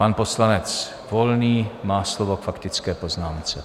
Pan poslanec Volný má slovo k faktické poznámce.